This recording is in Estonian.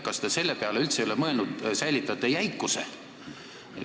Kas te selle peale ei ole üldse mõelnud, et te säilitate jäikuse?